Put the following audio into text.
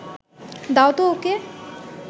দাও তো ওকে